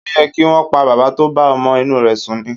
Ó yẹ kí wọ́n pa bàbá tó bá ọmọ inú rẹ sùn ni.